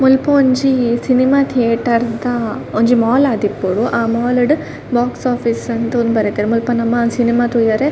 ಮುಲ್ಪ ಒಂಜಿ ಸಿನಿಮ ತಿಯೇಟರ್ದ ದ ಒಂಜಿ ಮಾಲ್ ಆದಿಪ್ಪೊಡು ಆ ಮಾಲ್ ಡು ಬೋಕ್ಸ್ ಓಫೀಸ್ ಅಂದ್ ತೂದ್ ಬರೆತೆರ್ ಮುಲ್ಪ ನಮ ಸಿನಿಮಾ ತೂವೆರೆ --